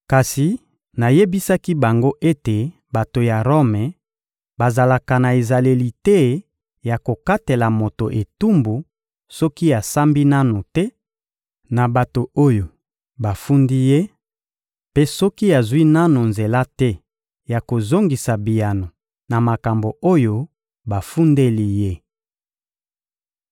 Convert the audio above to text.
Kasi nayebisaki bango ete bato ya Rome bazalaka na ezaleli te ya kokatela moto etumbu soki asambi nanu te na bato oyo bafundi ye, mpe soki azwi nanu nzela te ya kozongisa biyano na makambo oyo bafundeli ye.